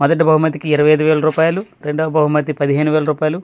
మొదటి బహుమతి కి ఇరవై ఐదు వేలు రూపాయిలు రెండో బహుమతి పదిహేను వేలు మూడో.